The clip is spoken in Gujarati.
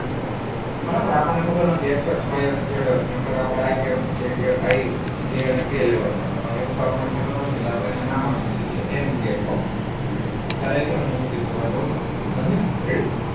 બરોબર આપણને ખબર નથી x અક્ષ y અક્ષ z અક્ષ નકર આપણે i cap j cap i j અને k લેવા ના હતા પણ એવું તો આપણને ખબર નથી એટલે આપણને અહિયાં નામ આપી દીધું છે n cap ખ્યાલ આવી ગયો અહિયાં સુધી કઈ વાંધો નથી ને ready